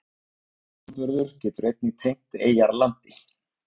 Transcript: Árframburður getur einnig tengt eyjar landi.